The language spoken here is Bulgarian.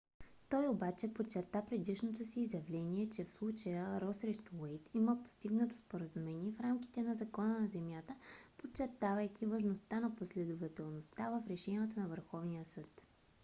той обаче подчерта предишното си изявление че в случая ро срещу уейд има постигнато споразумение в рамките на закона за земята подчертавайки важността на последователността в решенията на върховния съд